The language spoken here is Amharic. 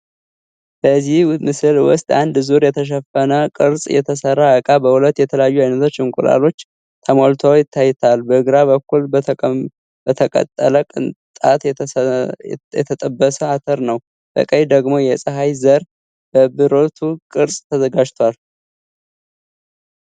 በዚህ ምስል ውስጥ አንድ ዙር የተሸፈነ ቅርጽ የተሰራ እቃ በሁለት የተለያዩ አይነት እንቁላሎች ተሞልቷ ታይቷል። በግራ በኩል በተቀጠለ ቅንጣት የተጠበሰ አተር ነው፣ በቀኝ ደግሞ የፀሐይ ዘር በብርቱ ቅርጽ ተዘጋጅቷ ነው።